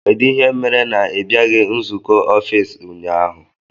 Kedụ ihe mere na ibiaghi nzụkọ ọffici ụnyaahụ?